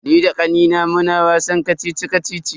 Ni da kannina muna wasan kacici-kacici.